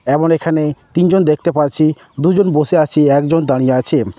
এমন এখানে তিনজন দেখতে পাচ্ছি দুজন বসে আছে একজন দাড়িয়ে আছেন।